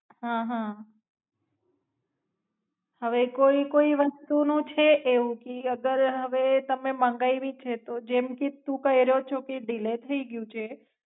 હાં હાં હવે કોઈ કોઈ વાસ્તુ નો છે એવું કે અગર હવે તમે મંગાયવી છે તો જેમ કે તું કઈરયોં છો કે ઢીલે થાય ગયું છે.